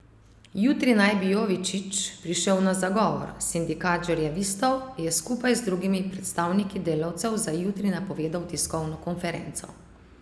Jutri naj bi Jovičić prišel na zagovor, sindikat žerjavistov je skupaj z drugimi predstavniki delavcev za jutri napovedal tiskovno konferenco.